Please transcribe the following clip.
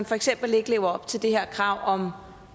for eksempel ikke lever op til det her krav